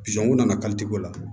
u nana ko la